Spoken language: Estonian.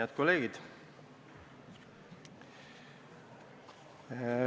Head kolleegid!